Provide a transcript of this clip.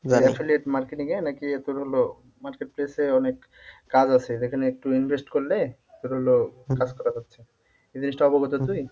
affiliate marketing এ নাকি তোর হলো marketplace এ অনেক কাজ আছে যেখানে একটু invest করলে তোর হলো কাজ করা যাচ্ছে এই জিনিসটা অবগত তুই?